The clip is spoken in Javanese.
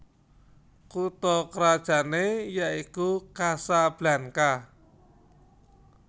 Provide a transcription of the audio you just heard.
Kutha krajané yaiku Casablanca